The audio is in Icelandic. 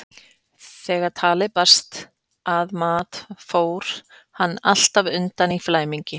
Þegar talið barst að mat fór hann alltaf undan í flæmingi.